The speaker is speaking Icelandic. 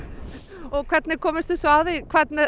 og hvernig komust þið svo að því hvernig